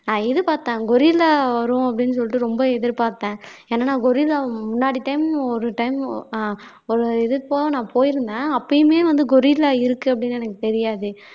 ஆஹ் இது பார்த்தேன் கொரில்லா வரும் அப்படீன்னு சொல்லிட்டு ரொம்ப எதிர்பார்த்தேன் ஏன்னா நான் கொரில்லா முன்னாடி time ஒரு time ஒரு இது போக நான் போயிருந்தேன் அப்பயுமே வந்து கொரில்லா இருக்கு அப்படின்னு எனக்கு தெரியாது